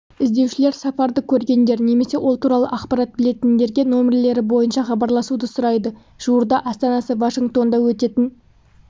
іздеушілер сафарды көргендер немесе ол туралы ақпарат білетіндерге нөмірлері бойынша хабарласуды сұрайды жуырда астанасы вашингтонда өтетін